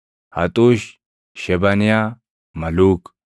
Haxuush, Shebaniyaa, Maluuk,